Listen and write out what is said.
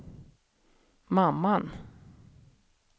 mamman